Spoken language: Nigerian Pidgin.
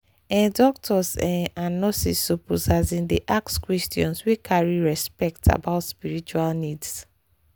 ehh doctors ehh and nurses suppose asin dey ask questions wey carry respect about spiritual needs.